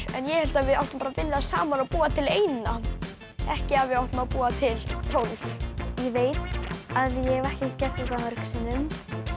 en ég hélt að við ættum bara að vinna saman og búa til eina ekki að við ættum að búa til tólf ég veit að ég hef ekki gert þetta mörgum sinnum